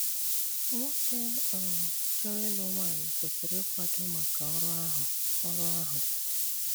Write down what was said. Nwókè um chọrọ ịlụ nwanyị kwesírí íkwádo mákà ọrụ áhụ ọrụ áhụ.